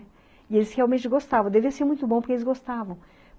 E eles realmente gostavam, devia ser muito bom porque eles gostavam.